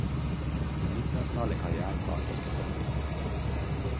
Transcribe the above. Den internasjonale karrièren varte ikke så lenge.